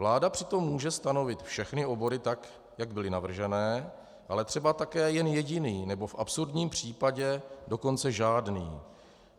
Vláda přitom může stanovit všechny obory tak, jak byly navržené, ale třeba také jen jediný, nebo v absurdním případě dokonce žádný.